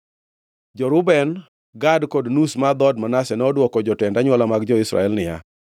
Jo-Reuben, Gad kod nus mar dhood Manase nodwoko jotend anywola mag jo-Israel niya,